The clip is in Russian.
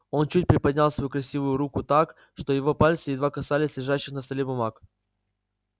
он чуть приподнял свою красивую руку так что его пальцы едва касались лежащих на столе бумаг